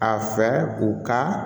A fɛ u ka